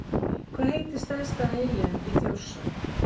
Hvað heitir stærsta eyjan í Þjórsá?